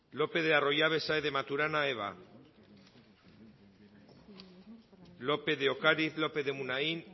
lopez de arroyabe saez de maturana eva lópez de ocariz lópez de munain